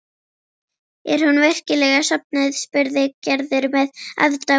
Er hún virkilega sofnuð? spurði Gerður með aðdáun.